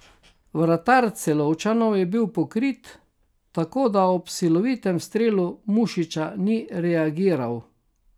Vratar Celovčanov je bil pokrit, tako da ob silovitem strelu Mušiča ni reagiral.